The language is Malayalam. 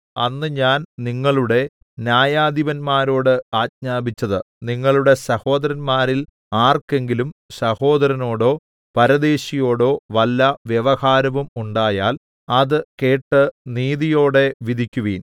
അന്ന് ഞാൻ നിങ്ങളുടെ ന്യായാധിപന്മാരോട് ആജ്ഞാപിച്ചത് നിങ്ങളുടെ സഹോദരന്മാരിൽ ആർക്കെങ്കിലും സഹോദരനോടോ പരദേശിയോടോ വല്ല വ്യവഹാരവും ഉണ്ടായാൽ അത് കേട്ട് നീതിയോടെ വിധിക്കുവിൻ